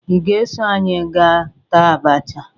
Ị ga-eso anyị gaa taa abacha?